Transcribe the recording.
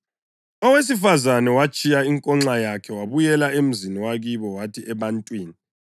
Owesifazane watshiya inkonxa yakhe wabuyela emzini wakibo wathi ebantwini,